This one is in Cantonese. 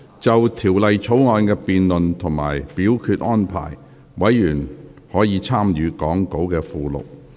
就條例草案的辯論及表決安排，委員可參閱講稿附錄。